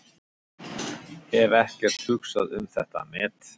Hef ekkert hugsað um þetta met.